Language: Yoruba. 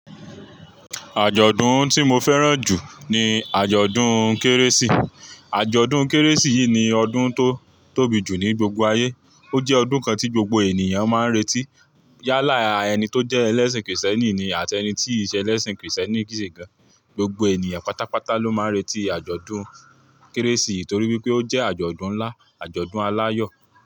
Àjọ̀dún tí mo fẹ́ràn jù ní àjọ̀dún Kérésì. Àjọ̀dún Kérésì yìí ni ọdún tó tóbi jù ní gbogbo ayé. Ó jẹ́ ọdún kan tí gbogbo ènìyàn máa ń retí. Yálà ẹni tó jẹ́ ẹlẹ́sìn kìrìsìtẹ́nì ni àti ẹni tí ìṣe ẹlẹ́sìn kìrìsìtẹ́nì kii ṣe gan. Gbogbo ènìyàn pátápátá ló máa ń retí àjọ̀dún Kérésì torí pé ó jẹ́ àjọ̀dún ńlá, àjọ̀dún aláyọ̀.